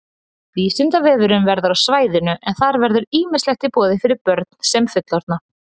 Vísindavefurinn verður á svæðinu en þar verður ýmislegt í boði fyrir börn sem fullorðna.